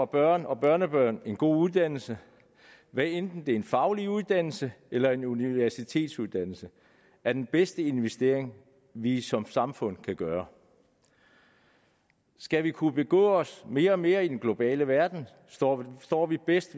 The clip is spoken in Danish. børn og børnebørn en god uddannelse hvad enten det er en faglig uddannelse eller en universitetsuddannelse er den bedste investering vi som samfund kan gøre skal vi kunne begå os mere og mere i den globale verden står står vi bedst